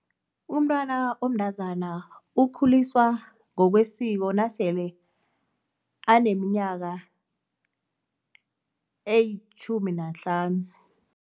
Umntwana omntazana ukhuliswa ngokwesiko nasele aneminyaka elitjhumi nahlanu.